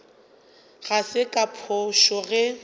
ga se ka phošo ge